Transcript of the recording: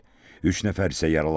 Üç nəfər isə yaralanıb.